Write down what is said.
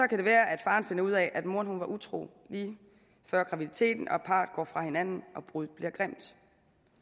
kan det være at faren finder ud af at moren var utro lige før graviditeten at parret går fra hinanden og at bruddet bliver grimt